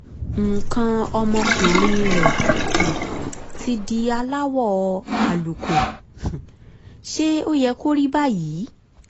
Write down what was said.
nǹkan ọmọkuùnrin rẹ̀ um ti di aláwọ̀ àlùkò um ṣé ó yẹ kó rí báyìí?